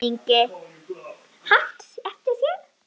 Björn Ingi: Haft eftir þér?